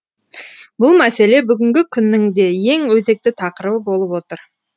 бұл мәселе бүгінгі күннің де ең өзекті тақырыбы болып отыр